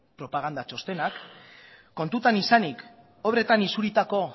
propaganda txostenak kontutan izanik obretan isuritako